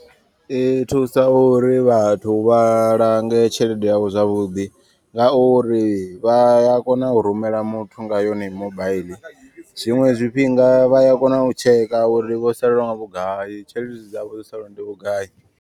I thusa uri vhathu vha lange tshelede yavho zwavhuḓi. Ngauri vha ya kona u rumela muthu nga yone mobaiḽi. Zwiṅwe zwifhinga vhaya kona u tsheka uri vho salelwa nga vhugai tshelede dzavho dzo salaho ndi vhugai.